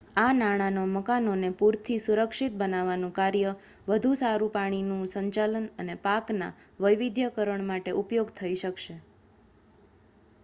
આ નાણાંનો મકાનોને પૂરથી સુરક્ષિત બનાવવાનું કાર્ય વધુ સારું પાણીનું સંચાલન અને પાકના વૈવિધ્યીકરણ માટે ઉપયોગ થઇ શકશે